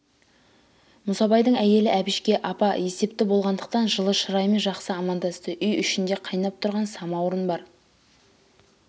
мұсабайдың әйелі әбішке апа есепті болғандықтан жылы шыраймен жақсы амандасты үй ішінде кайнап тұрған самауыр бар